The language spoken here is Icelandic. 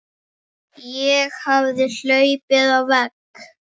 Ég hafði hlaupið á vegg.